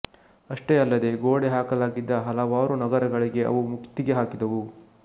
ಅಷ್ಟೇ ಅಲ್ಲದೇ ಗೋಡೆಹಾಕಲಾಗಿದ್ದ ಹಲವಾರು ನಗರಗಳಿಗೆ ಅವು ಮುತ್ತಿಗೆ ಹಾಕಿದವು